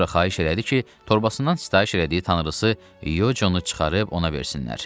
Sonra xahiş elədi ki, torbasından sifariş elədiyi tanrısı Yocunu çıxarıb ona versinlər.